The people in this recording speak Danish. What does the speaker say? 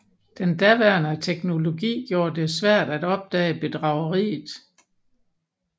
Den daværende teknologi gjorde det svært at opdage bedrageriet